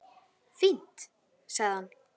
Fínt- sagði hann.